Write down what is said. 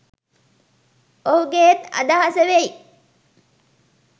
ඔහුගේත් අදහස වෙයි.